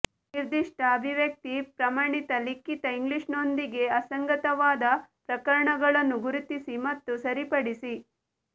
ನಿರ್ದಿಷ್ಟ ಅಭಿವ್ಯಕ್ತಿ ಪ್ರಮಾಣಿತ ಲಿಖಿತ ಇಂಗ್ಲಿಷ್ನೊಂದಿಗೆ ಅಸಂಗತವಾದ ಪ್ರಕರಣಗಳನ್ನು ಗುರುತಿಸಿ ಮತ್ತು ಸರಿಪಡಿಸಿ